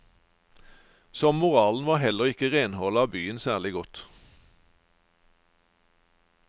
Som moralen var heller ikke renholdet av byen særlig godt.